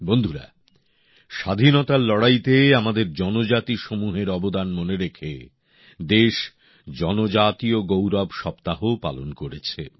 বন্ধুরা স্বাধীনতার লড়াইতে আমাদের জনজাতিসমূহের অবদান মনে রেখে দেশ জনজাতীয় গৌরব সপ্তাহও পালন করেছে